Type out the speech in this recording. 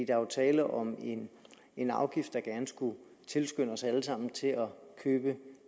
er jo tale om en en afgift der gerne skulle tilskynde os alle sammen til at købe